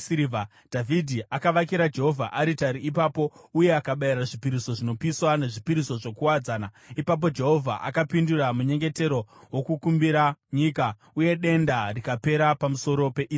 Dhavhidhi akavakira Jehovha aritari ipapo uye akabayira zvipiriso zvinopiswa nezvipiriso zvokuwadzana. Ipapo Jehovha akapindura munyengetero wokukumbirira nyika, uye denda rikapera pamusoro peIsraeri.